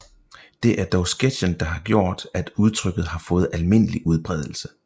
Det er dog sketchen der har gjort at udtrykket har fået almindelig udbredelse